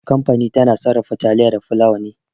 Kamfani tana sarrafa taliya da fulawa ne.